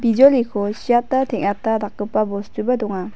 bijoliko siata teng·ata dakgipa bostuba donga.